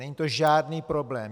Není to žádný problém.